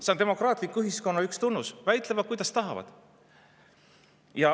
See on demokraatliku ühiskonna üks tunnus, väidelda, kuidas tahavad.